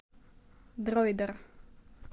дроидер